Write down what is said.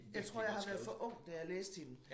Jeg tror jeg har været for ung da jeg læste hende